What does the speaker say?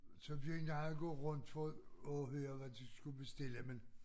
Så begyndte jeg at gå rundt for at at høre hvad de skulle bestille men